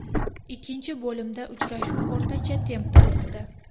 Ikkinchi bo‘limda uchrashuv o‘rtacha tempda o‘tdi.